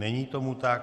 Není tomu tak.